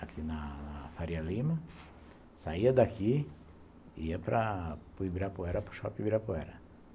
aqui na Faria Lima, saía daqui, ia para Ibirapuera, para o Shopping Ibirapuera.